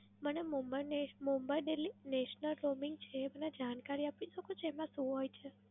મને મુંબઈ ને Mumbai delhi national roaming છે એ મને જાણકારી આપી શકો છો એમાં શું હોય છે?